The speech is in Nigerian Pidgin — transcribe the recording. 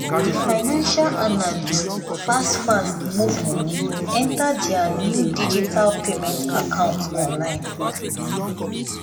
the financial analyst fast-fast move money enter their new digital payment account online.